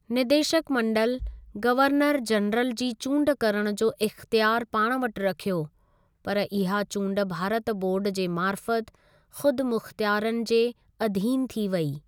निदेशक मंडल, governor general जी चूंड करणु जो इख़्तियार पाण वटि रखियो, पर इहा चूंड भारत बोर्ड जे मार्फ़त खुदमुख्तियारनि जे अधीन थी वेई।